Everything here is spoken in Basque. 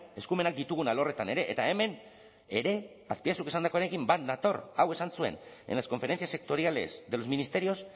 eskumenak ditugun alorretan ere eta hemen ere azpiazuk esandakoarekin bat nator hau esan zuen en las conferencias sectoriales de los ministerios